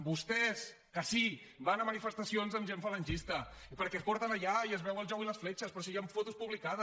vostès que sí van a manifestacions amb gent falangista perquè es porten allà i es veu el jou i les fletxes però si hi han fotos publicades